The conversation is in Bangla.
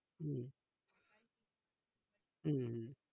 হম হম হম